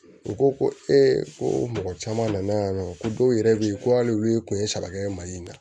U ko ko ko mɔgɔ caman nana yan nɔ ko dɔw yɛrɛ bɛ yen ko hali olu ye kun ye saba kɛ mali in na